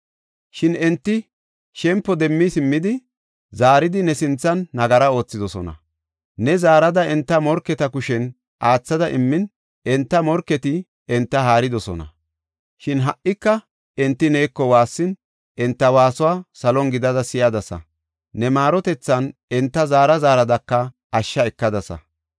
Shin enti shempo demmi simmidi zaaridi ne sinthan nagara oothidosona. Ne zaarada enta morketa kushen aathada immin, enta morketi enta haaridosona. Shin ha77ika enti neeko waassin, enta waasuwa salon gidada si7adasa. Ne maarotethan enta zaara zaaradaka ashsha ekadasa.